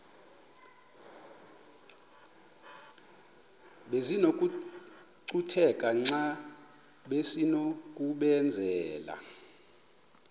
besinokucutheka xa besinokubenzela